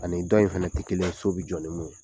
Ani dɔw in fana tɛ kelen ye so bɛ jɔ ni min ye.